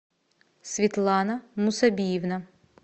светлана мусобиевна